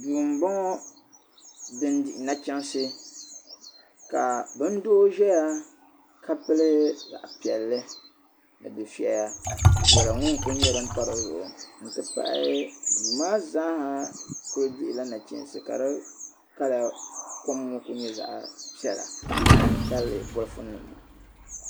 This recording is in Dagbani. Duu m boŋɔ din dihi nachiinsi kaa bindoo ʒeya ka pili zaɣa piɛli di difɛya viɛla ŋɔ n kuli pa dizuɣu n ti pahi duu maa zaaha dihi la nachiinsi ka di kala kom ŋɔ kuli nyɛ zaɣi piɛla n ti tabili bɔlifu nim ŋɔ